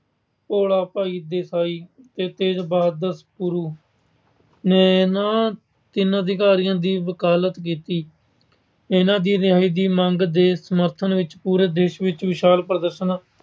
ਭੋਲਾ ਭਾਈ ਦੇਸਾਈ ਤੇ ਤੇਜ ਬਹਾਦਰ ਗੁਰੂ ਨੇ ਇਹਨਾਂ ਤਿੰਨਾਂ ਅਧਿਕਾਰੀਆਂ ਦੀ ਵਕਾਲਤ ਕੀਤੀ। ਇਹਨਾਂ ਦੀ ਰਿਹਾਈ ਦੀ ਮੰਗ ਦੇ ਸਮਰਥਨ ਵਿੱਚ ਪੂਰੇ ਦੇਸ਼ ਵਿਚ ਵਿਸ਼ਾਲ ਪ੍ਰਦਰਸ਼ਨ